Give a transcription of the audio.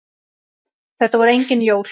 Þetta voru engin jól.